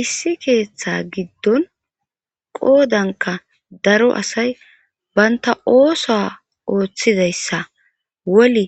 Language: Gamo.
Issi keeththa giddon qoodanka daro asay banta ooso ooththidayssa woli